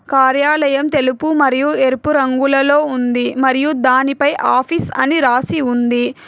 కార్యాలయం తెలుపు మరియు ఎరుపు రంగులలో ఉంది మరియు దానిపై ఆఫీస్ అని రాసి ఉంది.